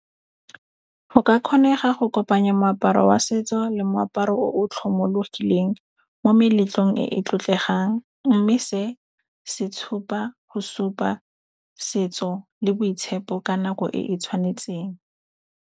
Go ka kgonega go kopanya moaparo wa setso le moaparo o tlhomologileng mo meletlong e e tlotlegang. Mme se se tshupa go supa setso le boitshepo ka nako e e tshwanetseng.